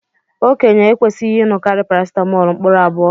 Okenye ekwesighi inukari paracetamóólú mkpụrụ abụọ.